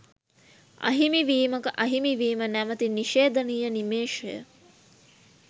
අහිමි වීමක අහිමිවීම නැමති නිශේධනීය නිමේෂය